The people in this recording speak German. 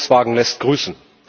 Volkswagen lässt grüßen.